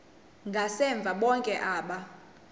ngasemva bonke aba